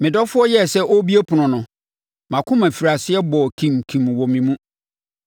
Me dɔfoɔ yɛɛ sɛ ɔrebue ɛpono no mʼakoma firi aseɛ bɔɔ kimkim wɔ me mu.